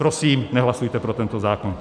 Prosím, nehlasujte pro tento zákon.